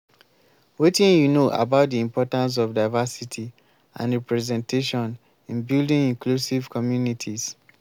wetin you know about di importance of diversity and representation in building inclusive communities?